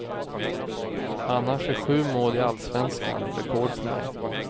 Annars är sju mål i allsvenskan rekord för mig.